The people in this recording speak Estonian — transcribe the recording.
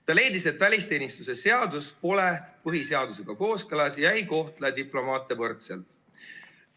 Ta leidis, et välisteenistuse seadus pole põhiseadusega kooskõlas ega kohtle diplomaate võrdselt.